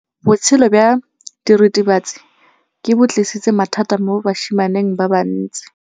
Botshelo jwa diritibatsi ke bo tlisitse mathata mo basimaneng ba bantsi.